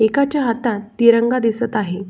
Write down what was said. एका च्या हातात तिरंगा दिसत आहे.